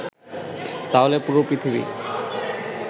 তাহলে পুরো পৃথিবী